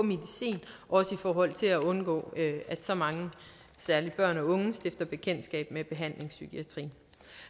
også i forhold til at undgå at så mange særligt børn og unge stifter bekendtskab med behandlingspsykiatrien